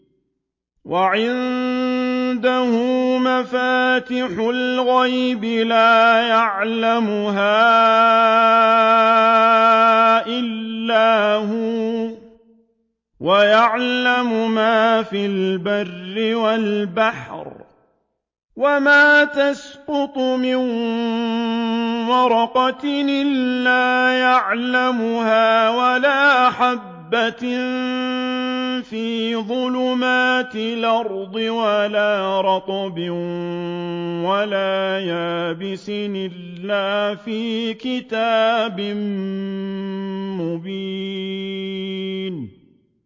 ۞ وَعِندَهُ مَفَاتِحُ الْغَيْبِ لَا يَعْلَمُهَا إِلَّا هُوَ ۚ وَيَعْلَمُ مَا فِي الْبَرِّ وَالْبَحْرِ ۚ وَمَا تَسْقُطُ مِن وَرَقَةٍ إِلَّا يَعْلَمُهَا وَلَا حَبَّةٍ فِي ظُلُمَاتِ الْأَرْضِ وَلَا رَطْبٍ وَلَا يَابِسٍ إِلَّا فِي كِتَابٍ مُّبِينٍ